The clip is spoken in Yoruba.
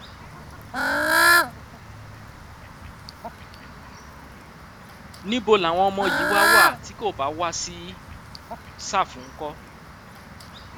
níbo làwọn ọmọ yìí wáá wá tí kò bá wàá sí ṣàfù ńkọ